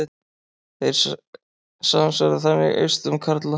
Þeir samsvara þannig eistum karla.